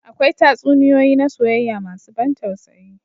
Akwai tatsuniyoyi na soyayya masu ban tausayi.